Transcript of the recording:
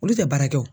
Olu tɛ baara kɛ o